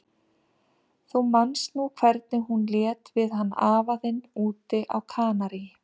Þú manst nú hvernig hún lét við hann afa þinn úti á Kanarí.